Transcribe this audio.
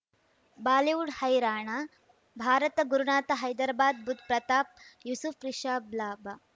Bollywood Haryana Bharat Gurunath Hyderabad Budh Pratap Yusuf Rishabh ಲಾಭ